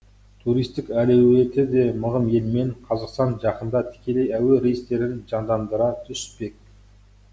туристік әлеуеті де мығым елмен қазақстан жақында тікелей әуе рейстерін жандандыра түспек